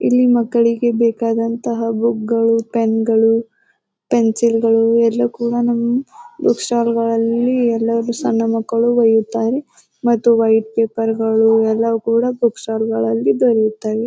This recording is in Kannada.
ಇಲ್ಲಿ ಮಕ್ಕಳಿಗೆ ಬೇಕಾದಂತಹ ಬುಕ್ಗಳು ಪೆನ್ಗಳು ಪೆನ್ಸಿಲ್ಗಳು ಎಲ್ಲಾ ಕೂಡ ನಮ್ಮ್ ಬುಕ್ ಸ್ಟಾಲ್ಲ್ಗಳಲ್ಲಿ ಎಲ್ಲಾರು ಸಣ್ಣ ಮಕ್ಕಳು ವೈಯುತ್ತಾರೆ ಮತ್ತು ವೈಟ್ ಪೇಪರ್ಗಳು ಎಲ್ಲಾ ಕೂಡ ಬುಕ್ ಸ್ಟಾಲ್ಲ್ಗಳಲ್ಲಿ ದೊರೆಯುತ್ತವೆ.